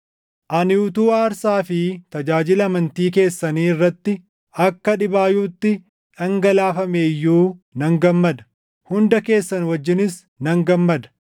Ani utuu aarsaa fi tajaajila amantii keessanii irratti akka dhibaayyuutti dhangalaafamee iyyuu nan gammada; hunda keessan wajjinis nan gammada.